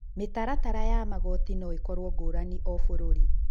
Mĩtaratara ya magooti no ĩkorũo ngũrani o bũrũri.